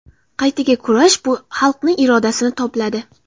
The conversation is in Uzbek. Qaytaga kurash bu xalqni irodasini tobladi.